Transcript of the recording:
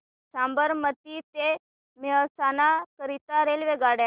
साबरमती ते मेहसाणा करीता रेल्वेगाड्या